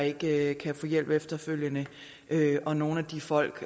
ikke kan få hjælp efterfølgende og nogle af de folk